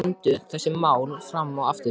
Mæðgurnar ræddu þessi mál fram og aftur.